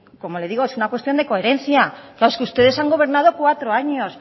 claro como le digo es una cuestión de coherencia es que ustedes han gobernado cuatro años